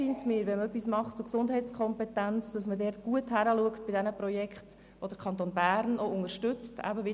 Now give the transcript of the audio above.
Wenn man etwas zur Förderung der Gesundheitskompetenz tun will, scheint es mir wichtig, bei den Projekten, die der Kanton Bern unterstützt, gut hinzuschauen.